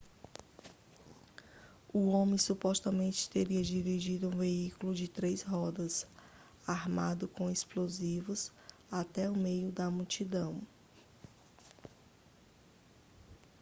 o homem supostamente teria dirigido um veículo de três rodas armado com explosivos até o meio da multidão